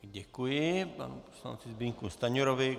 Děkuji panu poslanci Zbyňku Stanjurovi.